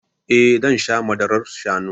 Eh zan sha madarar shanu